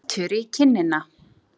Bítur í kinnina.